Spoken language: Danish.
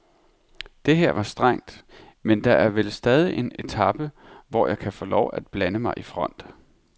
Det her var strengt, men der er vel stadig en etape, hvor jeg kan få lov at blande mig i front.